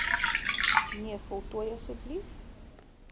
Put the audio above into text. nee voltooi asb